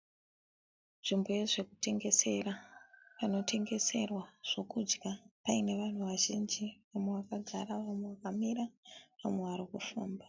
Nzvimbo yezvekutengesera, pano tengeserwa zvekudya paine vanhu vazhinji , vamwe vakagara vamwe vakamira , vamwe varikufamba.